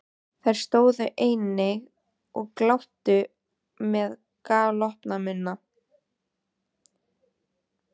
Þær stóðu einnig og gláptu með galopna munna.